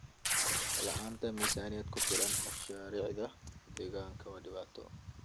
La'aanta miisaaniyad ku filan mashaariicda deegaanka waa dhibaato.